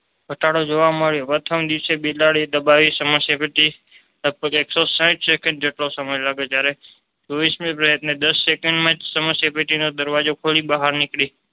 ઘટાડો જોવા મળ્યો પ્રથમ દિવસે બિલાડી દબાવી સમસ્યા પેટી લગભગ એક સો સાહીઠ સેકન્ડ જેટલો સમય લાગે જયારે ચોવીશમે પ્રયત્ને દાસ સેકન્ડમાં જ સમસ્યા પેટીની દરવાજો ખોલી બહાર નીકળી